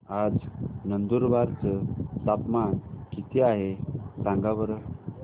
आज नंदुरबार चं तापमान किती आहे सांगा बरं